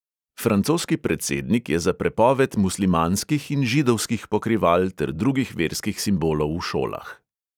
Francoski predsednik je za prepoved muslimanskih in židovskih pokrival ter drugih verskih simbolov v šolah.